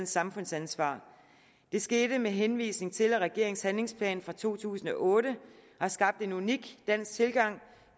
samfundsansvar det skete med henvisning til at regeringens handlingsplan for to tusind og otte har skabt en unik dansk tilgang